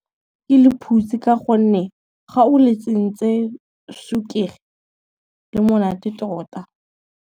Ke lephutsi ka gonne, ga o letsentse sukiri le monate tota.